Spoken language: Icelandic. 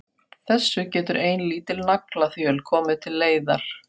Þessu getur ein lítil naglaþjöl komið til leiðar.